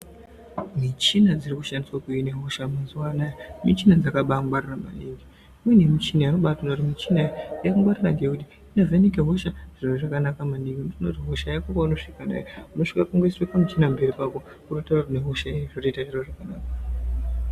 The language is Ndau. Mishina dziri kushandiswa kuhina hosha mazuva anawa mishina yakabangwarira maningi imweni michina unobaona kuti yakangwarira ngekuti inovheneka hosha zviro zvakanaka maningi nekuti hosha Yako wasvika kudai unosvika kuiswa muchina pamberi pako yototaura une hosha yei zvotoita zviro zvakanaka.